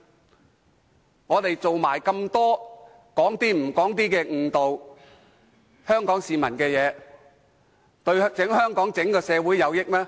他們很多時只說出部分而非全部真相，誤導香港市民，對整個香港社會有益嗎？